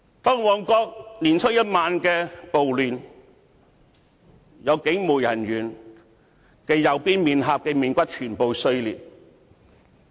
在年初一晚的旺角暴亂中，有警務人員右邊臉頰骨全部碎裂。